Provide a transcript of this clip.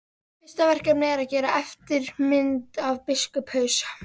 Fyrsta verkefnið er að gera eftirmynd af biskupshaus.